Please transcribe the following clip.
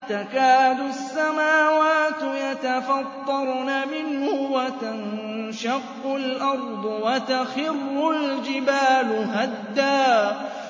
تَكَادُ السَّمَاوَاتُ يَتَفَطَّرْنَ مِنْهُ وَتَنشَقُّ الْأَرْضُ وَتَخِرُّ الْجِبَالُ هَدًّا